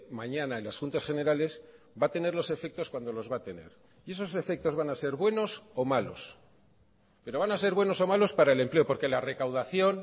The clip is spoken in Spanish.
mañana en las juntas generales va a tener los efectos cuando los va a tener y esos efectos van a ser buenos o malos pero van a ser buenos o malos para el empleo porque la recaudación